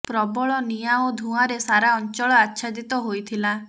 ପ୍ରବଳ ନିାଁ ଓ ଧୂଆଁରେ ସାରା ଅଞ୍ଚଳ ଆଚ୍ଛାଦିତ ହୋଇଥିଲା